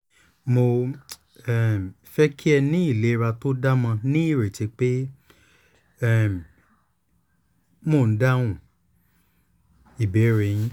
mo um fẹ́ kí ẹ ní ìlera tó dáamo ní ìrètí pé mo um dáhùn ìbéèrè yín